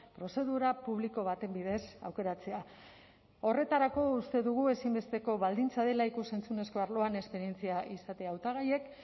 prozedura publiko baten bidez aukeratzea horretarako uste dugu ezinbesteko baldintza dela ikus entzunezko arloan esperientzia izatea hautagaiek